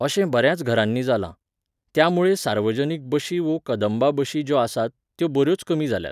अशें बऱ्याच घरांनी जालां. त्यामुळें सार्वजनीक बशी वो कंदबा बशी ज्यो आसात, त्यो बऱ्योच कमी जाल्यात.